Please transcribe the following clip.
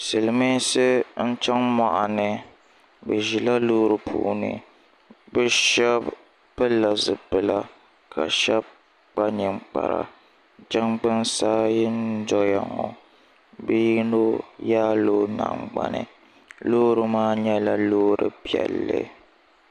silimiinsi n-chaŋ mɔɣuni bɛ ʒila loori puuni bɛ shɛba pilila zipila ka shɛba kpa ninkpara jangbuna ayi n-dɔya ŋɔ bɛ yino yaala o nangbani loori maa nyɛla loori piɛlli